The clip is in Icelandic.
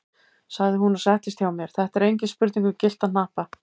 sagði hún og settist hjá mér, þetta er engin spurning um gyllta hnappa!